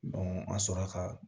an sɔrɔ la ka